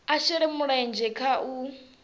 a shele mulenzhe kha u